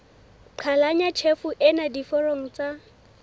qhalanya tjhefo ena diforong tsa